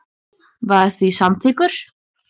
var því samþykkur.